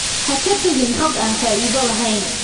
Ha ka tagin xog aan faa'iido lahayn.